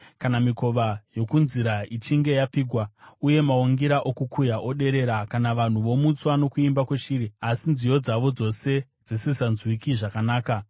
kana mikova yokunzira ichinge yapfigwa uye maungira okukuya oderera; kana vanhu vomutswa nokuimba kweshiri asi nziyo dzavo dzose dzisisanzwiki zvakanaka;